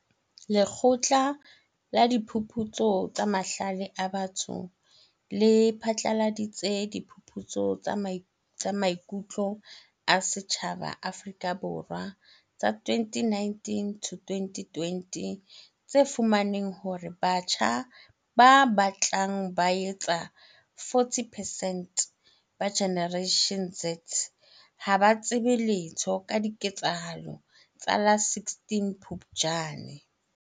Lekgotla la Diphuputso tsa Mahlale a Batho le phatlaladitse Diphuputso tsa Maiku tlo a Setjhaba Afrika Borwa tsa 2019 to 2020 tse fumaneng hore batjha ba batlang ba etsa 40 percent ba Generation Z ha ba tsebe letho ka diketsahalo tsa la 16 Phupjane.